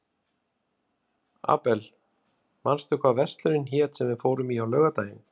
Abel, manstu hvað verslunin hét sem við fórum í á laugardaginn?